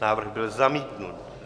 Návrh byl zamítnut.